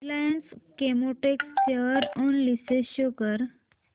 Reliance Chemotex share analysis show कर